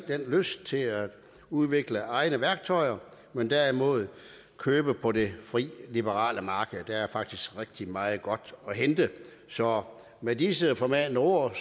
den lyst til at udvikle egne værktøjer men derimod køber på det fri liberale marked der er faktisk rigtig meget godt at hente så med disse formanende ord